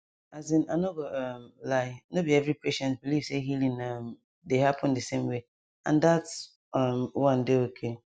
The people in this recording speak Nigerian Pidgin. asin i no go um lie no be every patient believe say healing um dey happen di same way and that um one dey okay